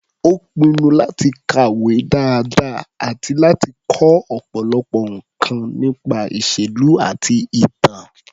Ó pinnu láti kàwé dáadáa àti láti kọ́ ọ̀pọ̀lọpọ̀ nǹkan nípa ìṣèlú àti ìtàn.